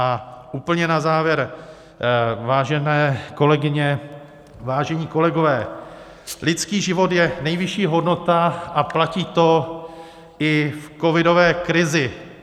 A úplně na závěr, vážené kolegyně, vážení kolegové, lidský život je nejvyšší hodnota a platí to i v covidové krizi.